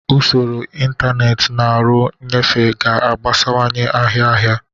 Usoro ntanetị na ọrụ nnyefe ga-agbasawanye ahịa ahịa.